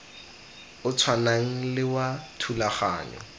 o tshwanang le wa thulaganyo